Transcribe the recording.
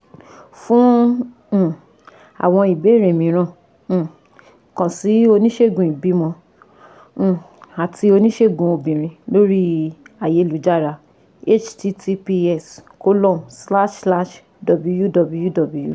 Fún um àwọn ìbéèrè mìíràn um kàn sí oníṣègùn ìbímọ um àti oníṣègùn obìnrin lórí ayélujára --> https://www